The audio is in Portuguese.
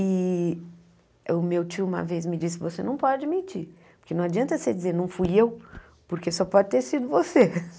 E o meu tio uma vez me disse, você não pode mentir, porque não adianta você dizer, não fui eu, porque só pode ter sido você.